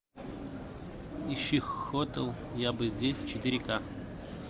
ищи хотел я бы здесь четыре ка